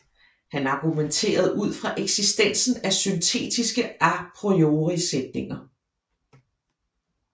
Han argumenterede ud fra eksistensen af syntetiske a priori sætninger